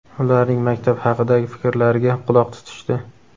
ularning maktab haqidagi fikrlariga quloq tutishdi.